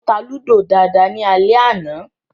Mo ta Lúdò dáadáa ní alẹ́ àná